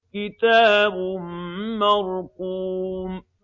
كِتَابٌ مَّرْقُومٌ